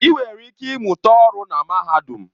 Ị nwere ike ịmụta ọrụ na mahadum.